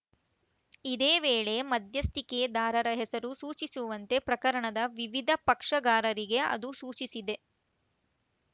ಇದೇ ವೇಳೆ ಮಧ್ಯಸ್ಥಿಕೆದಾರರ ಹೆಸರು ಸೂಚಿಸುವಂತೆ ಪ್ರಕರಣದ ವಿವಿಧ ಪಕ್ಷಗಾರರಿಗೆ ಅದು ಸೂಚಿಸಿದೆ